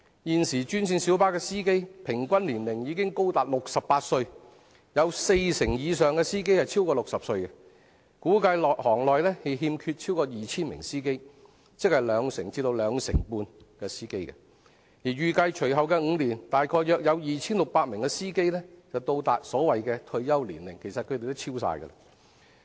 現時專線小巴司機平均年齡已高達68歲，有四成以上的司機超過60歲，估計行內欠缺超過 2,000 名司機，即兩成至兩成半司機，而預計隨後5年約有 2,600 名司機會達到退休年齡——其實是全部超過退休年齡。